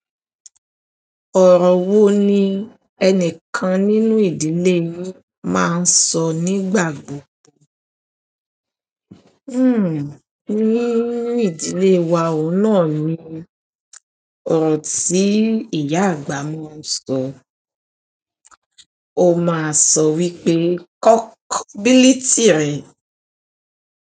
Ọ̀rọ̀ wo ni ẹni kan nínú ìdílé yin máa ń sọ nígbà gbogbo? Ní ìdílé wa ò ohun náà ni ọ̀rọ̀ tí ìyá àgbà máa ń sọ. Ó máa ń sọ wípé "kọ́kobìlìtì rẹ".